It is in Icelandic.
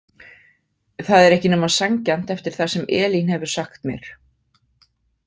Það er ekki nema sanngjarnt eftir það sem Elín hefur sagt mér.